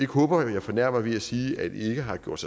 håber jeg fornærmer ved at sige at de ikke har gjort